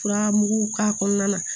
Furamugu k'a kɔnɔna na